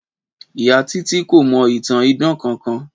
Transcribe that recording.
Ìyá Títí kò mọ ìtàn idán kankan